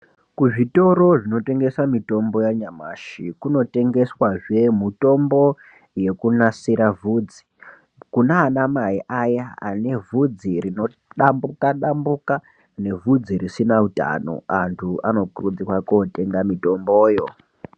Kuzvitoro zvinotengesa mitombo yanyamashi kunotengeswa zvee mutombo yekunasira vhudzi kuna ana mai aya anevhudzi rino dambuka dambuka nevhudzi risina utano antu anokurudzirwa kotenga mitombo yoo.